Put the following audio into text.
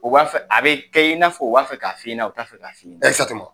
U b'a fɛ a bɛ kɛ i ɲɛna u b'a fɛ k'a fɔ i ɲɛna, u t'a fɛ k'a